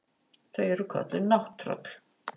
Þau eru kölluð nátttröll.